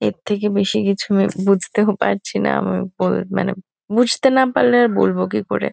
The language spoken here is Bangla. এর থেকে বেশি কিছু আমি বুঝতেও পারছি না। আমি বল মানে বুঝতে না পারলে আর বলবো কি করে?